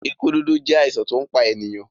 ikú dúdú jẹ àìsàn to npá ènìyàn.